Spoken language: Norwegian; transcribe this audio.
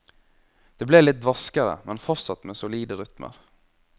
Det ble litt dvaskere, men fortsatt med solide rytmer.